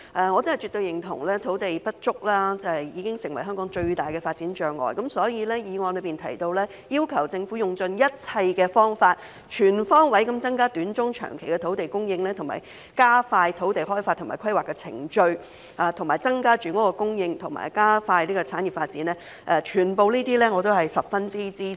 我絕對認同土地不足已經成為香港最大的發展障礙，所以議案提到"要求政府用盡一切方法，全方位增加短、中、長期的土地供應，並加快土地開發及規劃的程序，從而增加住屋供應及加快產業發展"，我全都十分支持。